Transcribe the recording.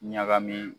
Ɲagami